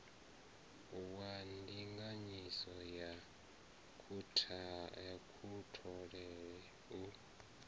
wa ndinganyiso ya kutholele u